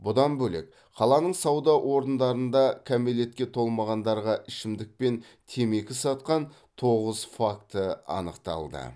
бұдан бөлек қаланың сауда орындарында кәмелетке толмағандарға ішімдік мен темекі сатқан тоғыз факті анықталды